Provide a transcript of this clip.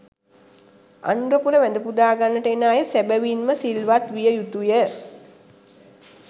අනුරපුර වැඳපුදා ගන්නට එන අය සැබැවින්ම සිල්වත් විය යුතුය.